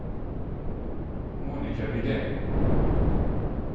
Monika Widén